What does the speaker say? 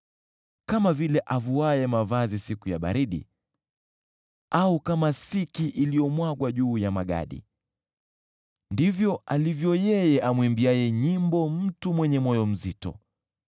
Kama vile avuaye mavazi siku ya baridi, au kama siki iliyomwagwa juu ya magadi, ndivyo alivyo yeye amuimbiaye nyimbo mtu mwenye moyo mzito.